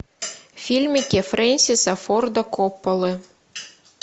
фильмики френсиса форда копполы